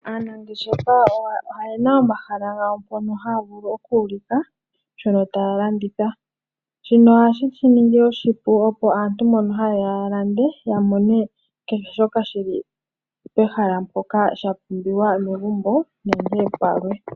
Aanangeshefa oyena omahala gawo mpono haya vulu oku ulika shono taya landitha. Shino ohashi shi ningi oshipu opo aantu mbono hayeya ya lande ya mone kehe shoka shili pehala mpoka shapumbiwa megumbo nenge palwe.